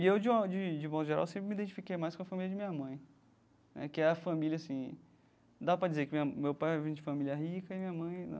E eu, de uma de de modo geral, sempre me identifiquei mais com a família de minha mãe né, que é a família, assim, dá para dizer que minha meu pai veio de família rica e minha mãe não dá.